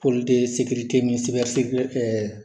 ni sekilɛ